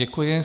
Děkuji.